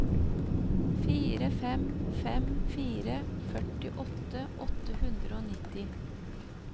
fire fem fem fire førtiåtte åtte hundre og nitti